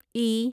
ای